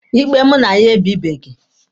Ikpe mụ na ya ebịbeghị.